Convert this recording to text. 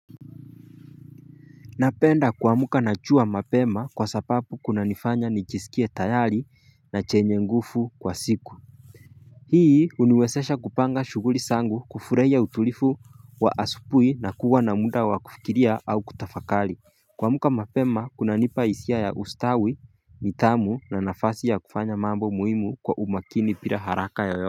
Napenda kuamka na chua mapema kwa sapapu kunanifanya nijisikie tayari na chenye ngufu kwa siku Hii huniwesesha kupanga shughuli sangu kufuraia utulifu wa asupui na kuwa na muda wa kufikiria au kutafakali Kuamka mapema kunanipa hisia ya ustawi, nithamu na nafasi ya kufanya mambo muhimu kwa umakini pira haraka yoyote.